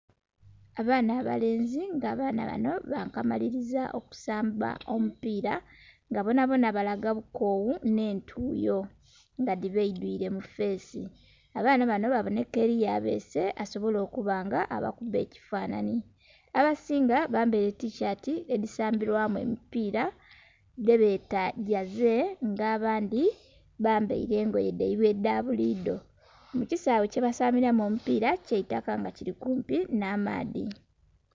Abaana abalenzi nga abaana bano bankamaliliza okusamba omupiira nga bonabona balaga bukowu nh'entuyo nga dhibaidhwile mu feesi. Abaana bano babonheka eliyo abeese asobole okuba nga abakuba ekifanhanhi. Abasinga bambaile tishaati edhisambilwamu emipiira dhebeeta Jersey, nga abandhi bambaile engoye dhaibwe edha buli idho. Mu kisaawe kyebasambilamu omupiira kya itaka nga kili kumpi nh'amaadhi.